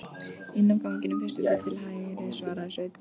Inn af ganginum, fyrstu dyr til hægri, svaraði Sveinn.